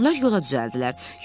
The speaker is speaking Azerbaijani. Onlar yola düzəldilər.